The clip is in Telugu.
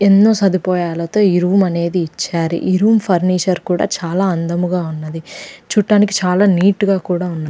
ఎన్నో సదుపాయాలతో ఈ రూమ్ అనేది ఇచ్చారు . ఈ రూమ్ ఫర్నీచర్ కూడా చాలా అందముగా ఉన్నది . చూడ్డానికి చాలా నీట్ గా కూడా ఉన్నది.